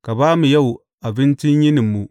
Ka ba mu yau abincin yininmu.